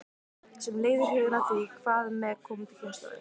Sem leiðir hugann að því: Hvað með komandi kynslóðir?